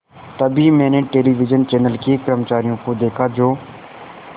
तभी मैंने television channel के कर्मचारियों को देखा जो